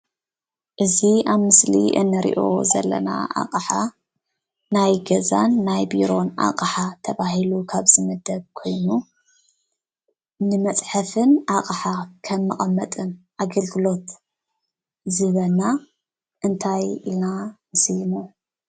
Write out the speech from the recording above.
እዚ ኣብ ምስሊ እንሪኦ ዘለና ኣቅሓ ናይ ገዛን ናይ ቢሮን ኣቅሓ ተባሂሉ ካብ ዝምደብ ኮይኑ፤ ንመፅሐፍን ኣቅሓ ከም መቀመጥን ኣግልግሎት ዝህበና እንታይ ኢልና ንስይሞ።